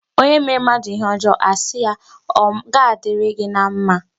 Onye mere mmadụ ihe ọjọọ, a na asị ya ọ ma dịrị gị na mma.